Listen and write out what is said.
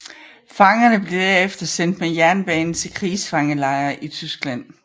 Fangerne blev derefter sendt med jernbane til krigsfangelejre i Tyskland